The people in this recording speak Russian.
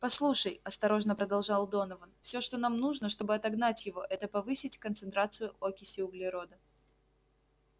послушай осторожно продолжал донован всё что нам нужно чтобы отогнать его это повысить концентрацию окиси углерода